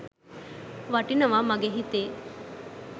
වටිනව මගෙ හිතේ